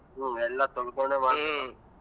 ಹ್ಮ್ ಎಲ್ಲಾ ತೊಳೊಕೊಂಡೆ .